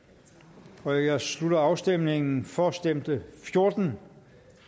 jeg jeg slutter afstemningen for stemte fjorten